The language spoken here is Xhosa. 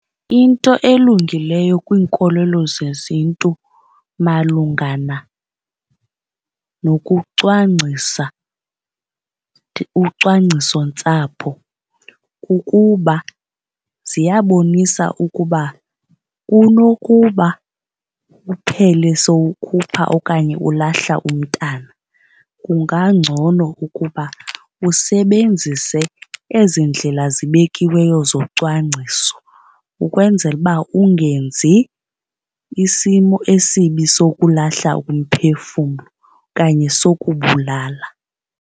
Into elungileyo kwiinkolelo zeziNtu malungana nokucwangcisa ucwangcisontsapho kukuba ziyabonisa ukuba kunokuba uphele sowukhupha okanye ulahla umntana kungangcono ukuba usebenzise ezi ndlela zibekiweyo zocwangciso, ukwenzela uba ungenzi isimo esibi sokulahla umphefumlo okanye sokubulala.